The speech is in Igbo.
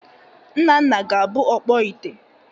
Nnanna ga-abụ ọkpọ ite